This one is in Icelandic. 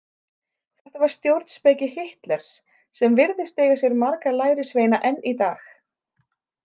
Þetta var stjórnspeki Hitlers, sem virðist eiga sér marga lærisveina enn í dag.